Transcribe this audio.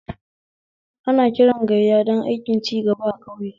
Ana nakiran gayyan don aikin cigaba a ƙauye